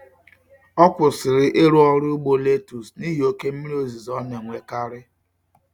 Ọ kwụsịrị ịrụ ọrụ ugbo letus nihi oké mmiri ozuzo na-enwekarị.